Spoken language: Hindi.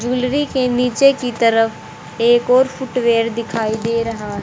ज्वेलरी के नीचे की तरफ एक और फुटवियर दिखाई दे रहा है।